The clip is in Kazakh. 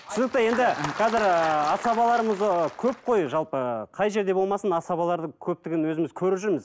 түсінікті енді қазір ыыы асабаларымыз ы көп қой жалпы қай жерде болмасын асабалар көптігін өзіміз көріп жүрміз